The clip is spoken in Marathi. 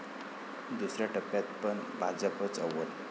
दुसऱ्या टप्प्यात पण भाजपचं अव्वल!